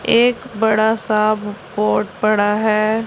एक बड़ा सा ब बोर्ड पड़ा है।